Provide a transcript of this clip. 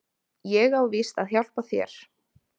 Ég á víst að hjálpa þér.